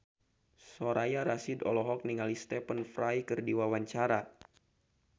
Soraya Rasyid olohok ningali Stephen Fry keur diwawancara